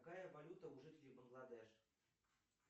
какая валюта у жителей бангладеш